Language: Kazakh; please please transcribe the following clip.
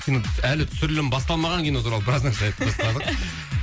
кино әлі түсірілім басталмаған кино туралы біраз нәрсе айтып тастадық